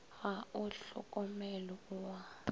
ga o hlokomelwe o a